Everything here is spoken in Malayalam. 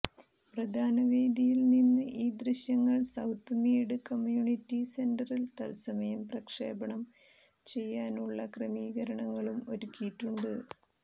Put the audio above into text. പ്രധാനവേദിയിൽനിന്ന് ഈ ദൃശ്യങ്ങൾ സൌത്ത് മീഡ് കമ്യൂണിറ്റി സെന്ററിൽ തത്സമയം പ്രക്ഷേപണം ചെയ്യാനുള്ള ക്രമീകരണങ്ങളും ഒരുക്കിയിട്ടുണ്ട്